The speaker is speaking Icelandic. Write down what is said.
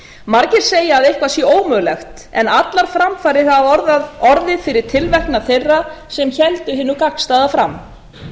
margir segja að eitthvað sé ómögulegt en allar framfarir hafa orðið fyrir tilverknað þeirra sem héldu hinu gagnstæða fram